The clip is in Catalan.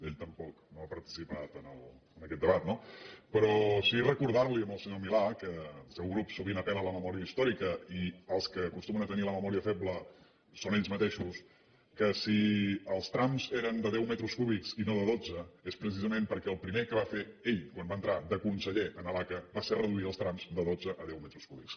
ell tampoc no ha participat en aquest debat no però sí recordar li al senyor milà que el seu grup sovint apel·la a la memòria històrica i els que acostumen a tenir la memòria feble són ells mateixos que si els trams eren de deu metres cúbics i no de dotze és precisament perquè el primer que va fer ell quan va entrar de conseller a l’aca va ser reduir els trams de dotze a deu metres cúbics